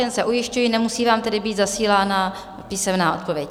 Jen se ujišťuji, nemusí vám tedy být zasílána písemná odpověď?